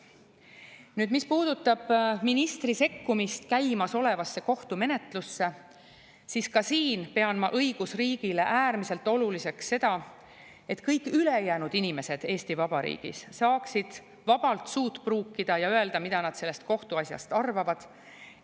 Nüüd, mis puudutab ministri sekkumist käimasolevasse kohtumenetlusse, siis ka siin pean ma õigusriigile äärmiselt oluliseks seda, et kõik ülejäänud inimesed Eesti Vabariigis saaksid vabalt suud pruukida ja öelda, mida nad sellest kohtuasjast arvavad.